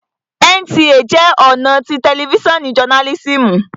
NTA jẹ́ ọ̀nà tí tẹlifísàn jọnálísìmù